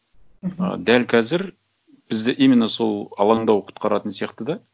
мхм ы дәл қазір бізді именно сол алаңдау құтқаратын сияқты да